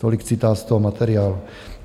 Tolik citát z toho materiálu.